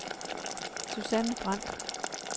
Susanne Brandt